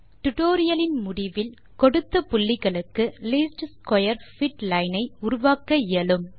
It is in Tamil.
டுடோரியலின் முடிவில் கொடுத்த தொகுதி புள்ளிகளுக்கு லீஸ்ட் ஸ்க்வேர் பிட் லைன் ஐ உருவாக்க இயலும்